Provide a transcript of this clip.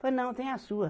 Falei, não, tem a sua.